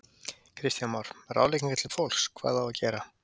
Kristján Már: Ráðleggingar til fólks, hvað á að gera?